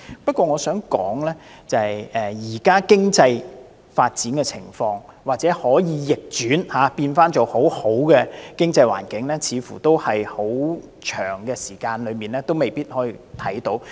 不過，我想指出，要將現時的經濟狀況逆轉為良好的經濟環境，似乎很長時間也未必能做到。